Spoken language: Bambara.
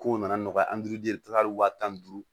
Kow nana nɔgɔya hali wa tan ni duuru